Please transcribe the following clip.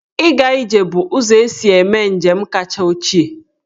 Ịga ije bụ ụzọ e si eme njem kacha ochie.